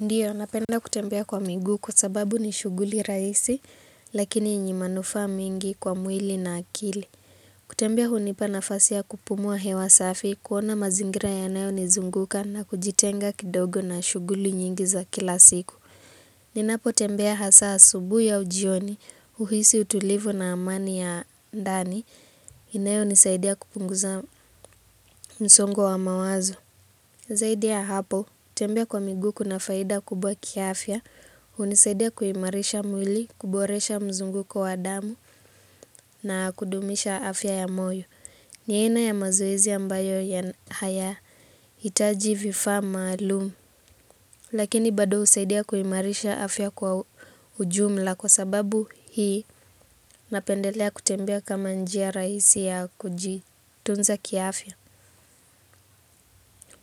Ndiyo, napenda kutembea kwa migu kwa sababu ni shuguli raisi, lakini yenye manufaa mingi kwa mwili na akili. Kutembea hunipa nafasi ya kupumua hewa safi, kuona mazingira yanayo nizunguka na kujitenga kidogo na shuguli nyingi za kila siku. Ninapo tembea hasa asubui au jioni, uhisi utulivu na amani ya ndani, inayo nisaidia kupunguza msongo wa mawazo. Zaidi ya hapo, kutembea kwa miguu kuna faida kubwa kiafya, unisaidia kuimarisha mwili, kuboresha mzunguo kwa damu na kudumisha afya ya moyo. Ni aina ya mazoezi ambayo ya hayaitaji vifaa maalumu, lakini bado usaidia kuimarisha afya kwa ujumla kwa sababu hii napendelea kutembea kama njia raisi ya kujitunza kiafya.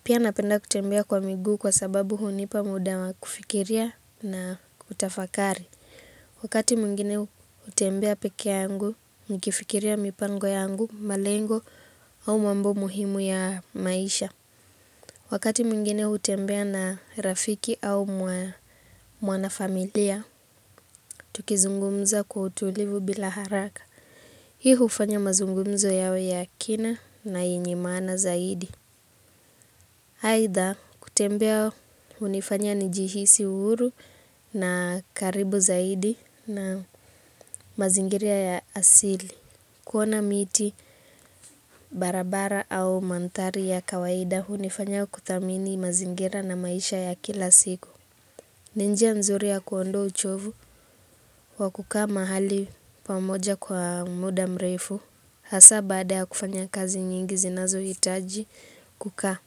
Pia napenda kutembea kwa migu kwa sababu hunipa muda wa kufikiria na kutafakari. Wakati mwingine hutembea peke yangu, nikifikiria mipango yangu, malengo au mambo muhimu ya maisha. Wakati mwingine utembea na rafiki au mwana familia, tukizungumza kwa utulivu bila haraka. Hii ufanya mazungumzo yawe ya kina na yenye maana zaidi. Haitha kutembea unifanya nijihisi uhuru na karibu zaidi na mazingiria ya asili. Kuona miti, barabara au mandhari ya kawaida unifanya kuthamini mazingira na maisha ya kila siku. Ni njia nzuri ya kuondoa uchovu wa kukaa mahali pamoja kwa muda mrefu. Hasa baada ya kufanya kazi nyingi zinazo hitaji kukaa.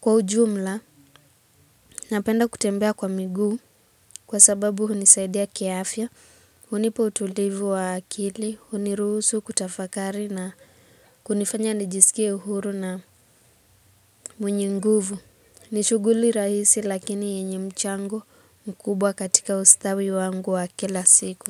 Kwa ujumla, napenda kutembea kwa miguu kwa sababu hunisaidia kiafya, hunipa utulivu wa akili, huniruhusu kutafakari na kunifanya nijisikie uhuru na mwenye nguvu. Ni shuguli rahisi lakini yenye mchango mkubwa katika ustawi wangu wa kila siku.